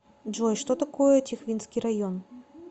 джой что такое тихвинский район